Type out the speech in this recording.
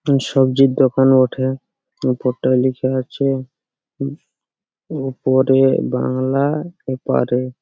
সবজির দোকান বটে উপরটাই লেখা আছে উ উপরে বাংলা এপারে।